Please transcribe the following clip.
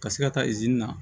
Ka se ka taa na